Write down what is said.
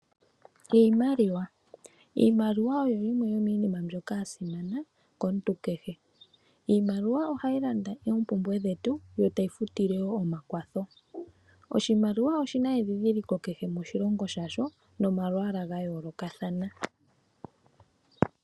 Iimaliwa Iimaliwa oyo yimwe yomiinima mbyoka ya simana komuntu kehe. Iimaliwa ohayi landa oompumbwe dhetu yo tayi futile wo omakwatho. Oshimaliwa oshi na endhindhiliko kehe moshilongo shasho nomalwaala ga yoolokathana.